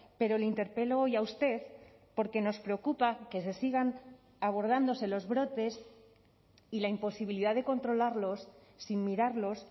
pero le interpelo hoy a usted porque nos preocupa que se sigan abordándose los brotes y la imposibilidad de controlarlos sin mirarlos